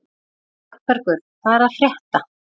Arnbergur, hvað er að frétta?